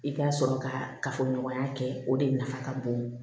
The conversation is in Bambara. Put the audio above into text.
I ka sɔrɔ ka kafoɲɔgɔnya kɛ o de nafa ka bon